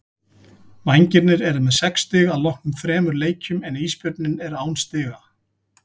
Vængirnir eru með sex stig að loknum þremur leikjum en Ísbjörninn er án stiga.